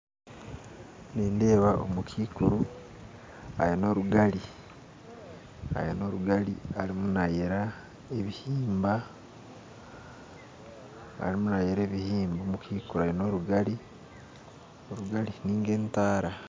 Nindeeba omukaikuru aine orugari arimu nayera ebihimba omukaikuru aine orugari arimu nayera ebihimba orugari ninga entaara